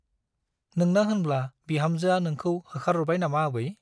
नोंना होनब्ला बिहामजोआ नोंखौ होखारहरबाय नामा आबै ?